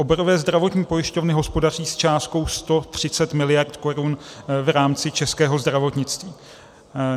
Oborové zdravotní pojišťovny hospodaří s částkou 130 miliard korun v rámci českého zdravotnictví.